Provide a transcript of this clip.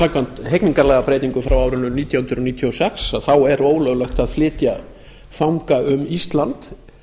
samkvæmt hegningarlagabreytingu frá árinu nítján hundruð níutíu og sex er ólöglegt að flytja fanga um ísland